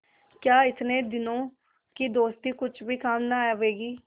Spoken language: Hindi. क्या इतने दिनों की दोस्ती कुछ भी काम न आवेगी